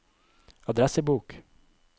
adressebok